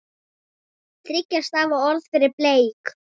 Þriggja stafa orð fyrir blek?